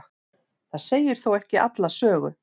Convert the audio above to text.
það segir þó ekki alla sögu